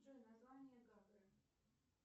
джой название гагры